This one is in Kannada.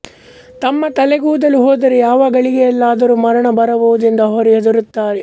ತಮ್ಮ ತಲೆಗೂದಲು ಹೋದರೆ ಯಾವ ಗಳಿಗೆಯಲ್ಲಾದರೂ ಮರಣ ಬರಬಹುದೆಂದು ಅವರು ಹೆದರುತ್ತಾರೆ